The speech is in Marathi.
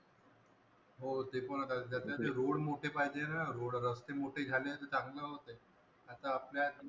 हो ते पण आहे. त्याच्यात रोड मोठे पाहिजे न रोड रस्ते मोठे झाले तर चांगले होते. आता आपल्या